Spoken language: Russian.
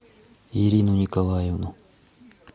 ирину николаевну